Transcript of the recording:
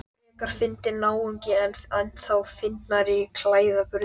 Hann var einstakur öndvegismaður í allri viðkynningu.